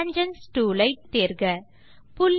tangents tool ஐ toolbar இலிருந்து தேர்க